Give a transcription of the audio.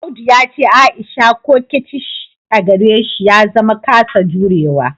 Audu ya ce Aisha coquettish a gare shi ya zama kasa jurewa